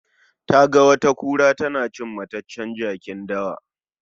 Taga wata kura tana cin mataccen jakin dawa.